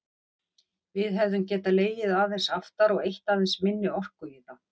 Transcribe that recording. Við hefðum getað legið aðeins aftar og eytt aðeins minni orku í það.